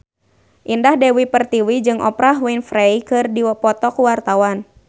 Indah Dewi Pertiwi jeung Oprah Winfrey keur dipoto ku wartawan